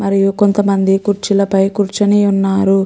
మరియు కొంత మంది కుర్చీల పై కూర్చొని ఉన్నారు.